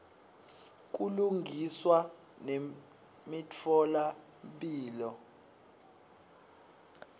kulungiswa nemitfola mphilo